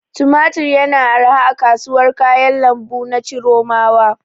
Tumatir yana arha a kasuwar kayan lambu na Chiromawa.